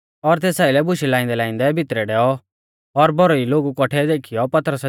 और तेस आइलै बुशै लाइंदैलाइंदै भितरै डैऔ और भौरी लोगु कौठै देखीयौ